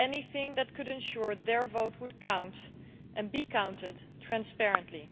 anything that could ensure their vote would count and be counted transparently.